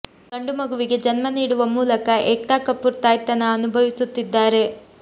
ಗಂಡು ಮಗುವಿಗೆ ಜನ್ಮ ನೀಡುವ ಮೂಲಕ ಏಕ್ತಾ ಕಪೂರ್ ತಾಯ್ತನ ಅನುಭವಿಸುತ್ತಿದ್ದಾರೆ